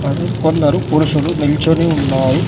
మరి కొందరు పురుషులు నిల్చొని ఉన్నారు.